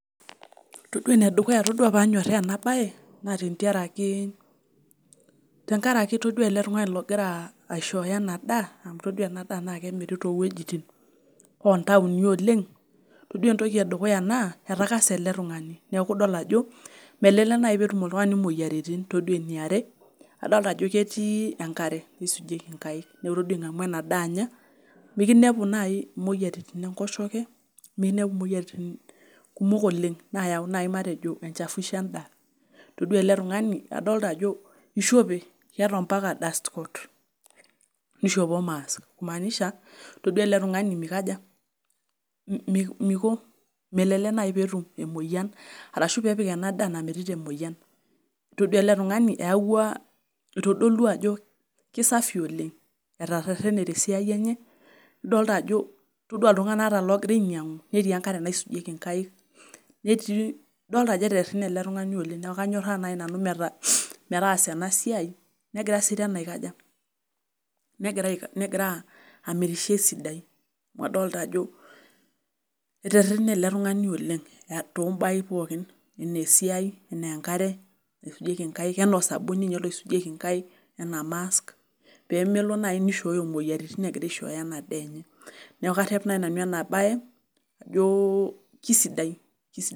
Todua enedukuya, todua panyorraa ena bae naa tenkaraki todua ele tungani ogira aishooyo ena daa todua ena daa naakemiri toowojitin intoaoni oleng'. Todua entoki edukuya naa etakase ele tungani neeku idol ajo melelek naai peetum oltungani imoyiaritin, todua eniare adoolta ajo ketii enkare naisujieki enkaik, neeku todua ingamu ena daa anya mikinepu naai imoyiaritin enkoshoke, mikinepu imoyiaritin kumok oleng' naayau mateji enjafuisho endaa. Todua ele idolita ajo ishope, keeta ambaka dust coat nishopo mask kimaanisha, todua ele tungani mikaja, melelek naai peetum emoyian arashu peepik ena daa nayierita emoyian. Todua ele tungani eyawua itodolua ajo kesafi oleng' atarerene tesiai enye, itodua ajo ata iltunganak ogira ainyianku netii enkare naisujieki inkaik, todua ajo etererene ele tungani oleng', neeku kanyoraa nai nanu metaasa ena siai, nagira amirisho esidai amu idolita ajo etererene ele tungani oleng' tobaai pookin enaa esiai, enaa enkare naisujieki enkaik, enaa osabuni ninye loisijuejki inkaik, enaa mask pemelo naai naishooyo imoyiaritin egira aishooyo ena daa enye. Neeku karep naai nanu ena bae ajo kisidai.